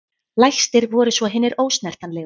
Lægstir voru svo hinir ósnertanlegu.